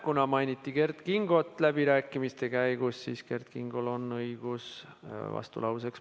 Kuna mainiti Kert Kingot läbirääkimiste käigus, siis on Kert Kingol on õigus vastulauseks.